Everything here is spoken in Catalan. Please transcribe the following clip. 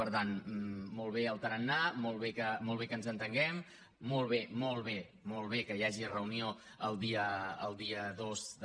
per tant molt bé el tarannà molt bé que ens entenguem molt bé molt bé que hi hagi reunió el dia dos de